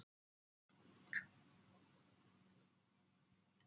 Okkur hefur borist pistill frá lesanda þar sem hann ræðir um öryggi á fótboltavöllum.